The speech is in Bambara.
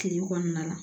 Kile kɔnɔna la